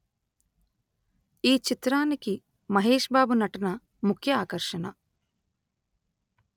ఈ చిత్రానికి మహేష్ బాబు నటన ముఖ్య ఆకర్షణ